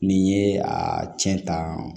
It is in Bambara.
N'i ye a cɛn tan